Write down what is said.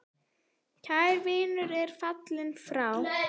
Kær vinur er fallin frá.